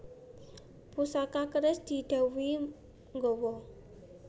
Pusaka keris didhawuhi nggawa